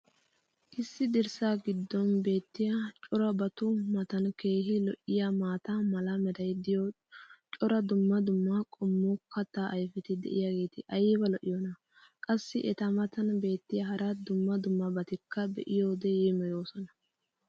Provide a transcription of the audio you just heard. Issi dirssaa giddon beetiya corabatu matan keehi lo'iyaa maata mala meray diyo cora dumma dumma qommo kataa ayfeti diyaageti ayba lo'iyoonaa? Qassi eta matan beetiya hara dumma dummabatikka be'iyoode yeemmoyoosona.